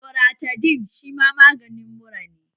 Loratadin shi ma maganin mura ne